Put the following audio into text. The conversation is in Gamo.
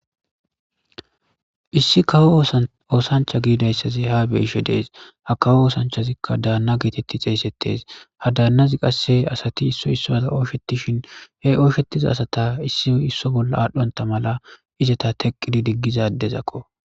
Issi kawo oosancha giidayssazi ha beishe dees ha kawo oosanchazikka daanna geetetti xeesettes ha daannazi qasse asati isso issoda ooshetishin he ooshetiza asata issi isso bolla aadhdhonta mala izeta teqqidi diggiza adezakko